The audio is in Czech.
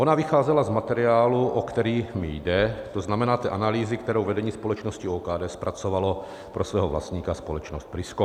Ona vycházela z materiálu, o který mi jde, to znamená té analýzy, kterou vedení společnosti OKD zpracovalo pro svého vlastníka, společnost Prisko.